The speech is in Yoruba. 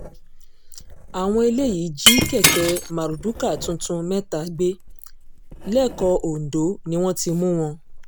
àwọn eléyìí jí kẹ̀kẹ́ mardukà tuntun mẹ́ta gbé lẹ́kọ̀ọ́ ondo ni wọ́n ti mú wọn